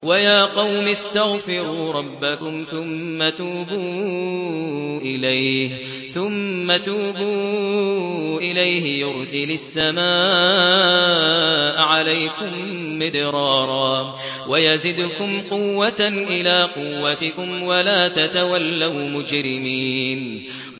وَيَا قَوْمِ اسْتَغْفِرُوا رَبَّكُمْ ثُمَّ تُوبُوا إِلَيْهِ يُرْسِلِ السَّمَاءَ عَلَيْكُم مِّدْرَارًا وَيَزِدْكُمْ قُوَّةً إِلَىٰ قُوَّتِكُمْ وَلَا تَتَوَلَّوْا مُجْرِمِينَ